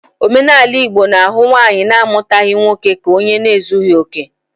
Omenala Igbo na-ahụ nwaanyi na-amutaghi nwa nwoke ka onye na ezughi oke.